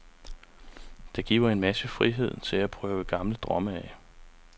Det giver en masse frihed til at prøve gamle drømme af.